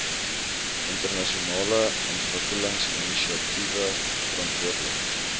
internasionale ontwikkelingsinisiatiewe verantwoordelik